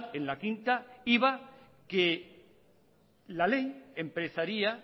en la quinta iba que la ley empezaría